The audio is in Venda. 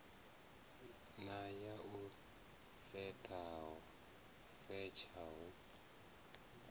na ya u setsha hu